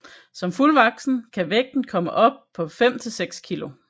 Som fuldvoksen kan vægten komme op på 5 til 6 kg